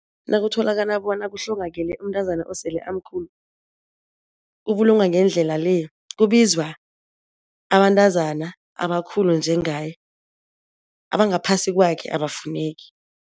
Nakutholakala bona kuhlongakele umntazana osele amkhulu ubulungwa ngendlela le, kubizwa abantazana abakhulu njengaye abangaphasi kwakhe abafuneki.